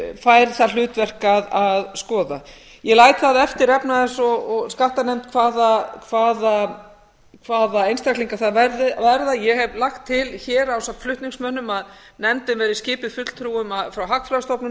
fær það hlutverk að skoða ég læt það eftir efnahags og skattanefnd hvaða einstaklingar það verða ég hef lagt til hér ásamt flutningsmönnum að nefndin verði skipuð fulltrúum frá hagfræðistofnun